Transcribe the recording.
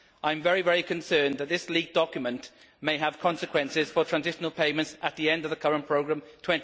I am very concerned that this leaked document may have consequences for transitional payments at the end of the current programme in